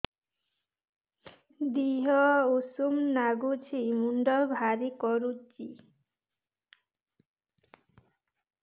ଦିହ ଉଷୁମ ନାଗୁଚି ମୁଣ୍ଡ ଭାରି କରୁଚି